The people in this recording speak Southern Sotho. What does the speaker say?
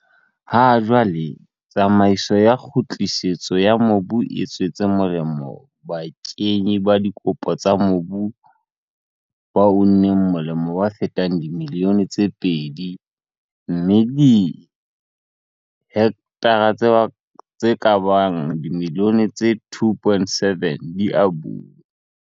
Ha jwale, tsamaiso ya kgutlisetso ya mobu e tswetse molemo bakenyi ba dikopo tsa mobu ba uneng molemo ba fetang dimilione tse pedi mme dihektara tse ka bang dimilione tse 2.7 di abuwe.